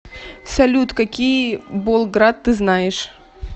салют какие болград ты знаешь